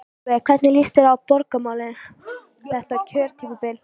Sólveig: Hvernig líst þér á borgarmálin þetta kjörtímabilið?